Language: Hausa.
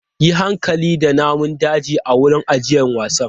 Yi hankali da namun daji a wurin ajiyar wasan!